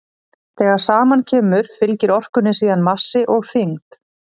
þegar saman kemur fylgir orkunni síðan massi og þyngd